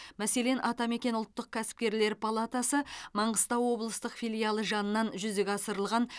мәселен атамекен ұлттық кәсіпкерлер палатасы маңғыстау облыстық филиалы жанынан жүзеге асырылған